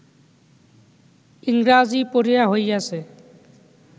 ইংরাজী পড়িয়া হইয়াছে